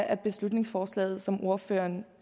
af beslutningsforslaget som ordføreren